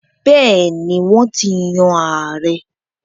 Bẹ́ẹ̀ni, Wọ́n ti yan ààrẹ́